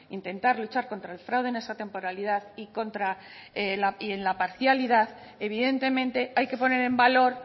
intentar luchar contra el fraude en esa temporalidad y contra la y en la parcialidad evidentemente hay que poner en valor